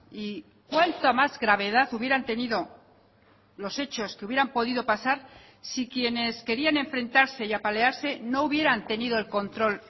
y cuánta más gravedad hubieran tenido los hechos que hubieran podido pasar si quienes querían enfrentarse y apalearse no hubieran tenido el control